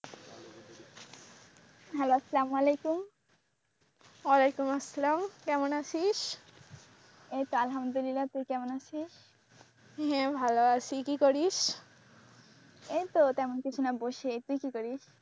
Hello সালামালিকুম, অলাইকুম আসসালাম কেমন আছিস, এইতো আলহামদুলিল্লাহ তুই কেমন আছিস, হ্যাঁ ভালো আছি কি করিস, এইতো তেমন কিছু না বসে তুই কি করিস?